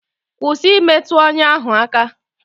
Kwụsị imetụ ọnya ahụ aka!